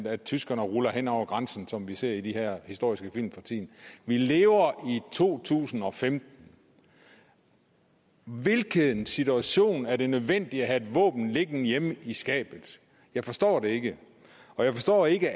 at tyskerne rullede hen over grænsen som vi ser i de her historiske film for tiden vi lever i to tusind og femten i hvilken situation er det nødvendigt at have våben liggende hjemme i skabet jeg forstår det ikke jeg forstår ikke